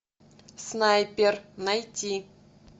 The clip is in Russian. снайпер найти